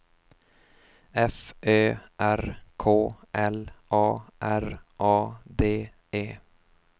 F Ö R K L A R A D E